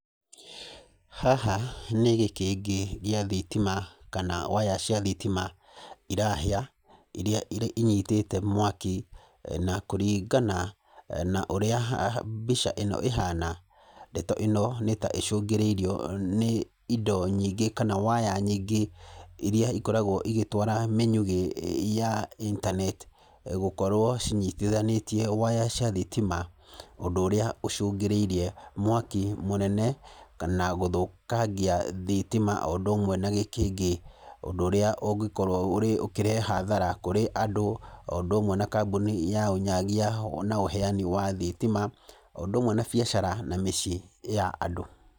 Haha nĩ gĩkĩngĩ gĩa thitima kana waya cia thitima irahĩa irĩa inyitĩte mwaki na kũringana na ũrĩa mbica ĩno ĩhana, ndeto ĩno nĩ ta icũngĩrĩirio nĩ indo nyingĩ kana waya nyingĩ, irĩa ikoragwo igĩtwara mĩnyugĩ ya internet. Gũkorwo cinyitithanĩtie waya cia thitima. Ũndũ ũrĩa ũcũngĩrĩirie mwaki mũnene kana gũthũkangia thitima o ũndũ ũmwe na gĩkĩngĩ. Ũndũ ũrĩa ũngĩkorwo ũkĩrehe hathara kũrĩ andũ o ũndũ ũmwe na kambuni ya ũnyagia na ũheani wa thitima, o ũndũ ũmwe na biacara na mĩciĩ ya andũ.